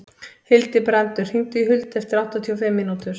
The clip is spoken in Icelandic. Hildibrandur, hringdu í Huld eftir áttatíu og fimm mínútur.